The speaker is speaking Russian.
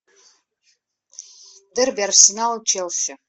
дерби арсенал челси